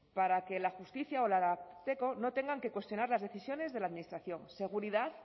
para que la justicia o el ararteko no tengan que cuestionar las decisiones de la administración seguridad